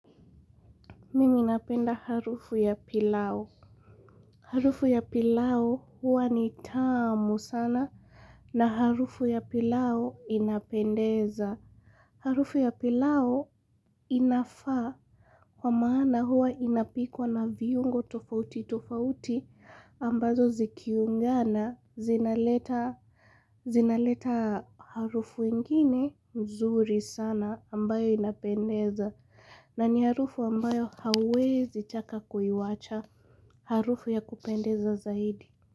Mimi napenda harufu ya pilau. Harufu ya pilau huwa ni tamu sana na harufu ya pilau inapendeza. Harufu ya pilau inafaa kwa maana huwa inapikwa na viungo tofauti tofauti ambazo zikiungana zinaleta harufu ingine mzuri sana ambayo inapendeza. Na ni harufu ambayo hauwezi taka kuiwacha harufu ya kupendeza zaidi.